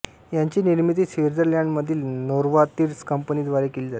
याची निर्मिती स्वित्झर्लंडमधील नोवार्तिस कंपनी द्वारे केली जाते